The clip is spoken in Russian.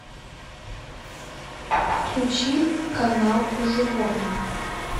включи канал про животных